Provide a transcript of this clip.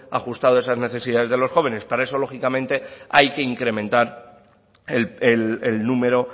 ajustado a esas necesidades de los jóvenes para eso lógicamente hay que incrementar el número